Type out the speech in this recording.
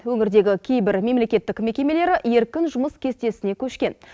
өңірдегі кейбір мемлекеттік мекемелері еркін жұмыс кестесіне көшкен